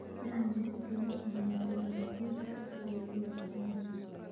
Cilmi baaris lagu sameeyo tignoolajiyada cusub ayaa loo baahan yahay.